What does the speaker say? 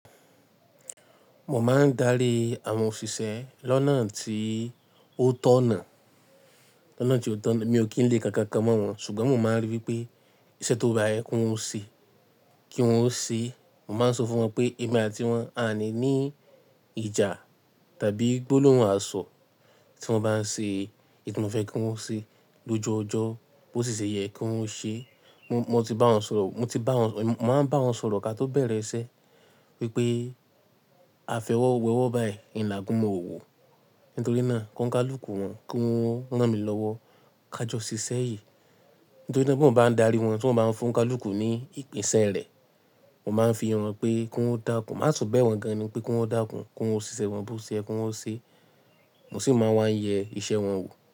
Mo máa ń darí àwọn òṣìṣẹ́ lọ́nà tí ó tọ̀nà. Lọ́nà tí ó tọ̀nà, mi ò kí ń le kaǹkankan mọ́ wọn ṣùgbọ́n mo máa ń rí i pé iṣẹ́ tó bá yẹ kí wọ́n ṣe, kí wọ́n ṣe. Mo máa ń sọ fún wọn pé ẹ̀mí àti wọn a o ní ní ìjà tàbí gbólóhùn àṣọ. Tí wọ́n bá ń ṣe oun tí mo fẹ́ kí wọ́n ṣe lóju ojo, bó ti ṣe yẹ kí wọ́n ṣe. Mo ti bá wọn sọ̀rọ̀, mo ti bá wọn, mo máa ń bá wọn sọ̀rọ̀ ká tó bẹ̀rẹ̀ iṣẹ́ wípé afẹ́wọ́wọ́wọ́ báyìí, ni agunmu òwò. Nítorí náà kóńi kalùkù wọn, kí wọ́n rán mi lọ́wọ́, ká jọ ṣiṣẹ́ yìí. Nítorí na bí mo bá ń darí wọn, tí wọ́n bá ń fún ká lùkù ní ìpín iṣẹ́ rẹ̀, mo máa ń fi hàn wọ́n pé kí wọ́n dákùn. A tun bẹ́ẹ̀ wọ́n gan ni pé kí wọ́n dákùn, kí wọ́n ṣe iṣẹ́ wọn bó ṣe yẹ kí wọ́n ṣe. Mo sì máa wá ń yẹ iṣẹ́ wọn wò.